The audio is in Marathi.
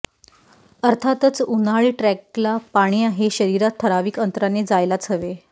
अर्थातच उन्हाळी ट्रेकला पाणी हे शरीरात ठराविक अंतराने जायलाच हवे